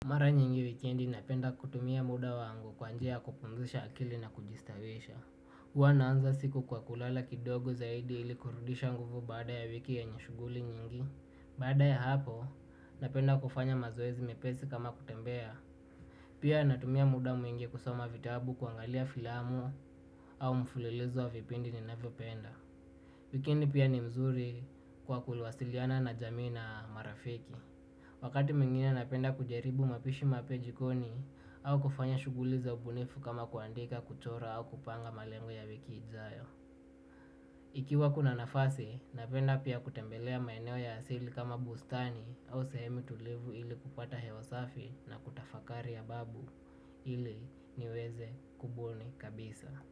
Mara nyingi wikendi napenda kutumia muda wangu kwa njia ya kupumzisha akili na kujistarehesha. Huwa naanza siku kwa kulala kidogo zaidi ili kurudisha nguvu baada ya wiki yenye shughuli nyingi. Baada ya hapo, napenda kufanya mazoezi mepesi kama kutembea. Pia natumia muda mwingi kusoma vitabu, kuangalia filamu au mfululizo wa vipindi ninavyopenda. Wikendi pia ni mzuri kwa kuwasiliana na jamii na marafiki. Wakati mwingine napenda kujaribu mapishi mapya jikoni au kufanya shughuli za ubunifu kama kuandika, kuchora au kupanga malengo ya wiki ijayo. Ikiwa kuna nafasi, napenda pia kutembelea maeneo ya asili kama bustani au sehemu tulivu ili kupata hewa safi na kutafakari ya babu ili niweze kubuni kabisa.